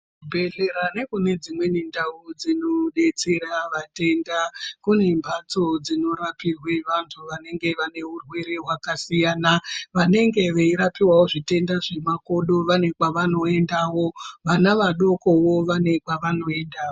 Kuzvibhedhlera nekunedzimweni ndau dzinodetsera vatenda kune mhatso dzinorapirwe vantu vanenge vanehurwere hwakasiyana, vanenge veirapiwawo zvitenda zvemakodo vane kwevanotoendawo, vana vadokowo vane kwavanoendawo.